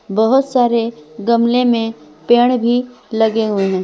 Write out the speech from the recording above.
बहुत सारे गमले में पेड़ भी लगे हुए हैं।